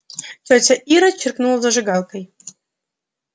тётя ира чиркнула зажигалкой